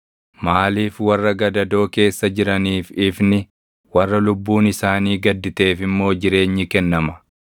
“Maaliif warra gadadoo keessa jiraniif ifni warra lubbuun isaanii gadditeef immoo jireenyi kennama?